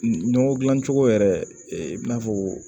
Nɔgɔ dilan cogo yɛrɛ i n'a fɔ